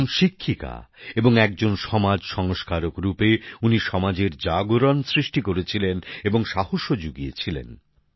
একজন শিক্ষিকা এবং একজন সমাজ সংস্কারক হিসেবে উনি সমাজে চেতনা সৃষ্টি করেছিলেন এবং সাহসও জুগিয়েছিলেন